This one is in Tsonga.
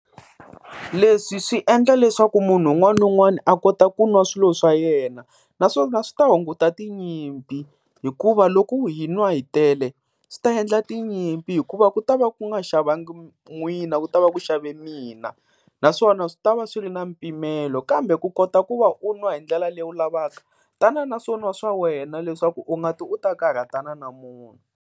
Leswi swi endla leswaku munhu un'wana na un'wana a kota ku nwa swilo swa yena naswona swi ta hunguta tinyimpi, hikuva loko hi nwa hi tele swi ta endla tinyimpi, hikuva ku ta va ku nga xavanga n'wina ku ta va ku xave mina, naswona swi ta va swi ri na mpimelo. Kambe ku kota ku va u nwa hi ndlela leyi u lavaka tana na swo n'wa swa wena leswaku u nga ti u ta karhata na na munhu.